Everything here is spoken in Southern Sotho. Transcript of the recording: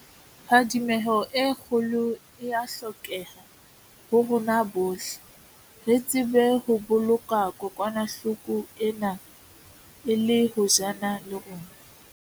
Phadimeho e kgolo e a hlokeha ho rona bohle, re tsebe ho boloka kokwanahlo ko ena e le hojana le rona.